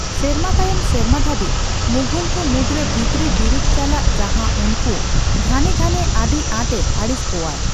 ᱥᱮᱨᱢᱟ ᱛᱟᱭᱚᱢ ᱥᱮᱨᱢᱟ ᱫᱷᱟᱹᱵᱤᱡ, ᱢᱩᱜᱷᱚᱞ ᱠᱚ ᱢᱩᱫᱨᱮ ᱵᱷᱤᱛᱨᱤ ᱵᱤᱨᱩᱫᱷ ᱪᱟᱞᱟᱜ ᱡᱟᱦᱟᱸ ᱩᱱᱠᱩ ᱜᱷᱟᱱᱮ ᱜᱷᱟᱱᱮ ᱟᱹᱰᱤ ᱟᱸᱴᱮ ᱟᱹᱲᱤᱥ ᱠᱚᱣᱟᱭ ᱾